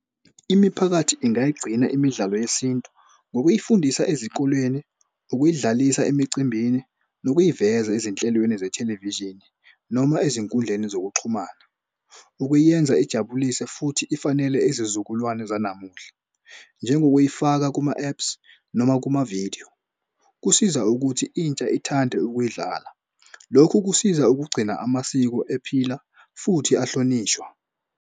Imiphakathi ingayigcina imidlalo yesintu ngokuyifundisa ezikoleni ukuyidlalisa emicimbini nokuyiveza ezinhlelweni zethelevishini noma ezinkundleni zokuxhumana. Ukuyenza ijabulise futhi ifanele ezizukulwane zanamuhla. Njengokuyifaka kuma-apps noma kumavidiyo. Kusiza ukuthi intsha ithande ukuyidlala. Lokhu kusiza ukugcina amasiko ephila futhi ahlonishwa.